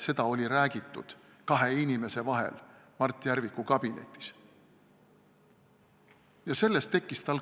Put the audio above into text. Seda olid rääkinud kaks inimest omavahel Mart Järviku kabinetis.